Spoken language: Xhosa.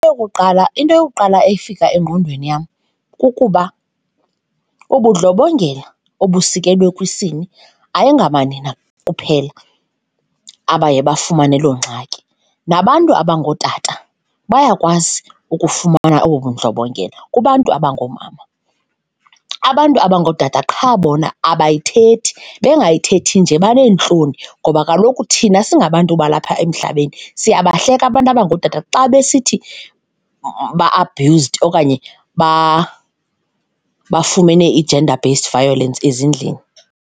Eyokuqala, into yokuqala efika engqondweni yam kukuba ubudlobongela obusekelwe kwisini ayingamanina kuphela abaye bafumane loo ngxaki. Nabantu abangootata bayakwazi ukufumana obu bundlobongela kubantu abangoomama. Abantu abangootata qha bona abayithethi, bengayithethi nje baneentloni ngoba kaloku thina singabantu balapha emhlabeni siyabahleka abantu abangootata xa besithi ba-abused okanye bafumene i-gender based violence ezindlini.